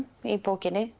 í bókinni